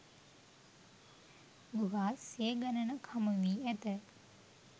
ගුහා සිය ගණනක් හමුවී ඇත